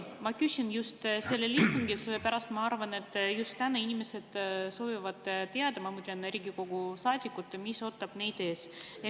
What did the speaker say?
Ma küsin just sellel istungil, sellepärast et ma arvan, et just täna inimesed soovivad teada, ma mõtlen Riigikogu saadikud, mis ootab neid ees.